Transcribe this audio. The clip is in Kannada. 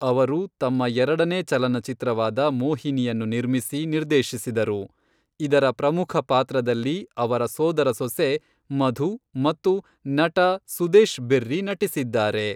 ಅವರು ತಮ್ಮ ಎರಡನೇ ಚಲನಚಿತ್ರವಾದ ಮೋಹಿನಿಯನ್ನು ನಿರ್ಮಿಸಿ, ನಿರ್ದೇಶಿಸಿದರು, ಇದರ ಪ್ರಮುಖ ಪಾತ್ರದಲ್ಲಿ ಅವರ ಸೋದರ ಸೊಸೆ ಮಧು ಮತ್ತು ನಟ ಸುದೇಶ್ ಬೆರ್ರಿ ನಟಿಸಿದ್ದಾರೆ.